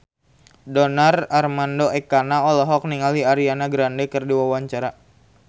Donar Armando Ekana olohok ningali Ariana Grande keur diwawancara